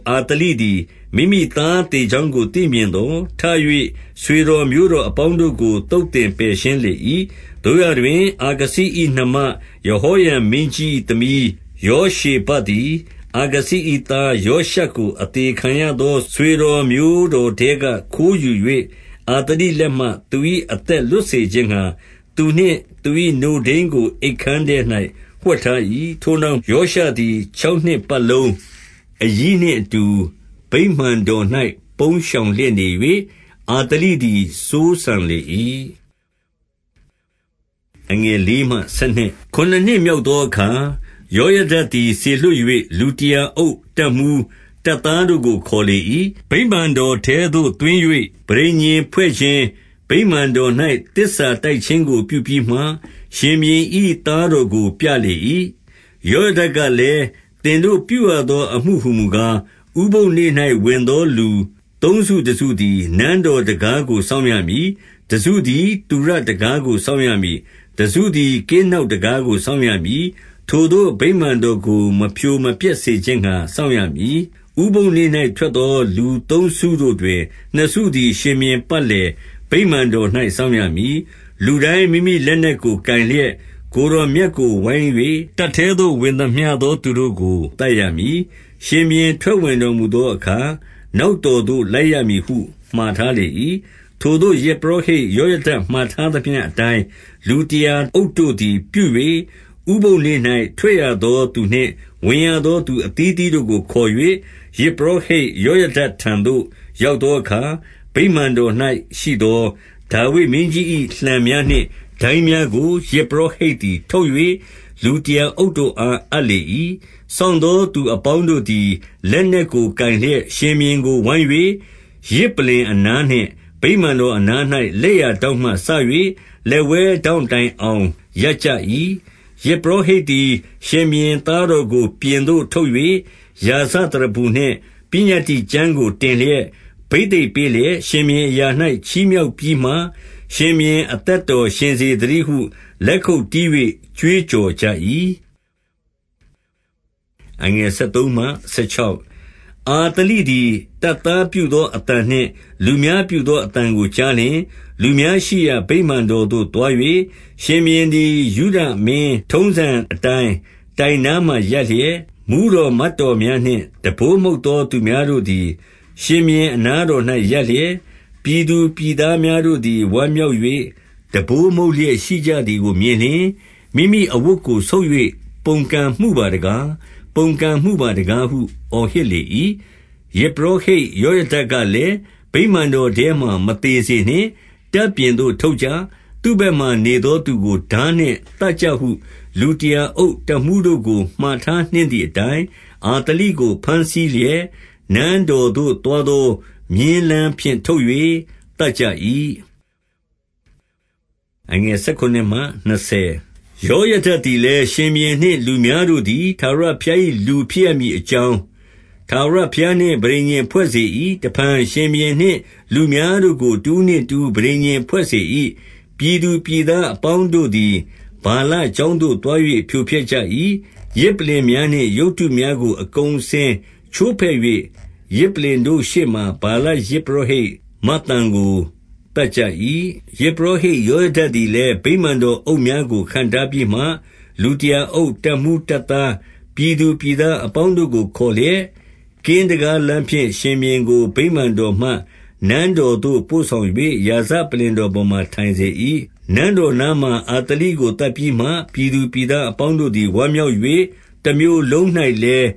အာသလိသည် မိမိသား သေကြောင်းကို သိမြင်သော်၊ ထ၍ ဆွေတော်မျိုးတော် အပေါင်းတို့ကို သုတ်သင်ပယ်ရှင်းလေ၏။ 2 သို့ရာတွင် အာခဇိ၏နှမယဟောရံမင်းကြီး သမီးယောရှေဘသည် အာခဇိ၏သား ယောရှကို အသေ ခံရသော ဆွေတော်မျိုးတော်ထဲက ခိုးယူ၍ အာသလိ လက်မှ သူ၏အသက် လွတ်စေခြင်းငှါ၊ သူနှင့်သူ၏ နို့ထိန်းကို အိပ်ခန်းထဲ၌ဝှက်ထား၏။ 3 ထိုနောက်ယောရှသည် ခြောက်နှစ်ပတ်လုံး အရီးနှင့်အတူ ဗိမာန်တော်၌ပုန်းရှောင်လျက်နေ၍၊ အာသလိသည် စိုးစံလေ၏။ 4 ခုနစ်နှစ်မြောက်သောအခါ၊ ယောယဒသည် စေလွှတ်၍၊ လူတရာအုပ်၊ တပ်မှူး၊ တပ်သားတို့ကို ခေါ်လေ၏။ ဗိမာန်တော်ထဲသို့ သွင်း၍ ပဋိညာဉ်ဖွဲ့ခြင်း၊ ဗိမာန်တော်၌ သစ္စာတိုက်ခြင်းကို ပြုပြီးမှ၊ ရှင်ဘုရင်၏ သားတော်ကိုပြလေ၏။ 5 ယောယဒကလည်း၊ သင်တို့ပြုရသော အမှုဟူ မူကား၊ ဥပုသ်နေ့၌ဝင်သောလူသုံးစုတစုသည် နန်းတော် တံခါးကိုစောင့်ရမည်။ 6 တစုသည် သုရတံခါးကို စောင့်ရမည်။ တစု သည် ကင်းနောက် တံခါးကိုစောင့်ရမည်။ ထိုသို့ ဗိမာန် တော်ကို မဖြိုမဖျက်စေခြင်းငှါ စောင့်ရမည်။ 7 ဥပုသ်နေ့၌ ထွက်သောလူသုံးစုတွင် နှစ်စုသည် ရှင်ဘုရင်ပတ်လည် ဗိမာန်တော်၌စောင့်ရမည်။ 8 လူတိုင်းမိမိလက်နက်ကို ကိုင်လျက် ကိုယ်တော် မြတ်ကို ဝိုင်း၍၊ တပ်ထဲသို့ဝင်သမျှသောသူတို့ကို သတ်ရ မည်။ ရှင်ဘုရင် ထွက်ဝင်တော်မူသောအခါ၊ နောက်တော် သို့ လိုက်ရမည်ဟုမှာထားလေ၏။ 9 ထိုသို့ ယဇ်ပုရောဟိတ်ယောယဒမှာထားသမျှ အတိုင်း လူတရာအုပ်တို့သည်ပြု၍၊ ဥပုသ်နေ့၌ထွက်ရသော သူနှင့်ဝင်ရသောသူအသီးအသီးတို့ကို ခေါ်၍ ယဇ်ပုရော ဟိတ် ယောယဒထံသို့ ရောက်သောအခါ၊ 10 ဗိမာန်တော်၌ရှိသော ဒါဝိဒ်မင်းကြီး၏လှံများ နှင့် ဒိုင်းများကို ယဇ်ပုရောဟိတ်သည်ထုတ်၍ လူတရာ အုပ်တို့အား အပ်လေ၏။ 11 စောင့်သောသူအပေါင်းတို့သည် လက်နက်ကို ကိုင်လျက်၊ ရှင်ဘုရင်ကို ဝိုင်း၍ ယဇ်ပလ္လင်အနားနှင့် ဗိမာန်တော်အနား၌ လက်ျာထောင့်မှစ၍ လက်ဝဲထောင့် တိုင်အောင် ရပ်ကြ၏။ 12 ယဇ်ပုရောဟိတ်သည် ရှင်ဘုရင်သားတော်ကို ပြင်သို့ထုတ်၍၊ ရာဇသရဖူနှင့် ပညတ္တိကျမ်းကို တင်လျက်၊ ဘိသိတ်ပေးလျက်၊ ရှင်ဘုရင်အရာ၌ချီးမြှောက်ပြီးမှ ရှင်ဘုရင်အသက်တော်ရှင်စေသတည်းဟု လက်ခုပ်တီး၍ ကြွေးကြော်ကြ၏။ 13 အာသလိသည် တပ်သားပြုသောအသံနှင့် လူများပြုသော အသံကိုကြားလျှင်၊ လူများရှိရာ ဗိမာန် တော်သို့သွား၍၊ 14 ရှင်ဘုရင်သည် ယုဒမင်းထုံးစံအတိုင်း တိုင်နား မှာရပ်လျက်၊ မှူးတော်မတ်တော်များနှင့် တံပိုးမှုတ်သော သူများတို့သည် ရှင်ဘုရင်အနားတော်၌ ရပ်လျက်၊ ပြည်သူပြည်သားများတို့သည် ဝမ်းမြောက်၍ တံပိုးမှုတ် လျက်ရှိကြသည်ကိုမြင်လျှင်၊ မိမိအဝတ်ကို ဆုတ်၍ ပုန်ကန်မှုပါတကား၊ ပုန်ကန်မှုပါတကားဟု အော်ဟစ် လေ၏။ 15 ယဇ်ပုရောဟိတ်ယောယဒကလည်း၊ ဗိမာန် တော်ထဲမှာမသေစေနှင့်၊ တပ်ပြင်သို့ထုတ်ကြ။ သူ့ဘက်မှာ နေသောသူကို ထားနှင့်သတ်ကြဟု လူတရာအုပ်၊ တပ်မှူး တို့ကို မှာထားနှင့်သည်အတိုင်း၊ 16 အာသလိကိုဘမ်းဆီးလျက်၊ နန်းတော်သို့ သွား သောမြင်းလမ်းဖြင့် ထုတ်၍ သတ်ကြ၏။ 17 ယောယဒသည်လည်း ရှင်ဘုရင်နှင့်လူများတို့ သည် ထာဝရဘုရား၏လူဖြစ်ရမည်အကြောင်း ထာဝရ ဘုရားနှင့် ပဋိညာဉ်ဖွဲ့စေ၏။ တဖန်ရှင်ဘုရင်နှင့်လူများ တို့ကို တဦးနှင့်တဦး ပဋိညာဉ်ဖွဲ့စေ၏။ 18 ပြည်သူပြည်သားအပေါင်းတို့သည် ဗာလ ကျောင်းသို့သွား၍ ဖြိုဖျက်ကြ၏။ ယဇ်ပလ္လလင်များနှင့် ရုပ်တုများကိုအကုန်အစင်ချိုးဖဲ့၍၊ ယဇ်ပလ္လင်တို့ရှေ့မှာ ဗာလယဇ်ပုရောဟိတ် မဿန်ကို သတ်ကြ၏။ 19 ယဇ်ပုရောဟိတ်ယောယဒသည်လည်း၊ ဗိမာန် တော်အုပ်များကို ခန့်ထားပြီးမှ လူတရာအုပ်၊ တပ်မှူး၊ တပ်သား၊ ပြည်သူပြည်သားအပေါင်းတို့ကိုခေါ်လျက်၊ ကင်းတံခါးလမ်းဖြင့် ရှင်ဘုရင်ကို ဗိမာန်တော်မှ နန်း တော်သို့ပို့ဆောင်၍ ရာဇပလ္လင်တော်ပေါ်မှာ ထိုင်စေ၏။ 20 နန်းတော်နားမှာ အာသလိကို သတ်ပြီးမှ၊ ပြည်သူပြည်သားအပေါင်းတို့သည် ဝမ်းမြောက်၍ တမြို့လုံး၌လည်း